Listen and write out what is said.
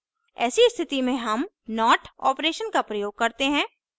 ऐसी स्थिति में हम not operation का प्रयोग करते हैं